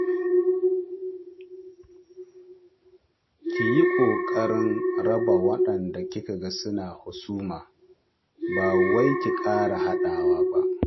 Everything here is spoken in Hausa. Ki yi ƙoƙarin raba waɗanda kika ga suna husuma, ba wai ki ƙara haɗawa ba.